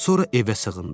Sonra evə sığındı.